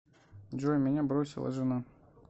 джой меня бросила жена